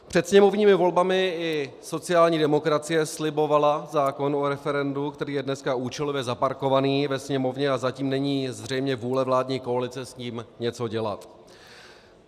Před sněmovními volbami i sociální demokracie slibovala zákon o referendu, který je dnes účelově zaparkovaný ve Sněmovně, a zatím není zřejmě vůle vládní koalice s ním něco dělat.